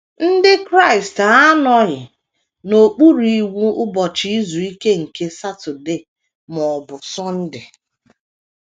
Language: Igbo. Ndị Kraịst anọghị n’okpuru iwu Ụbọchị Izu Ike nke Saturday ma ọ bụ Sunday.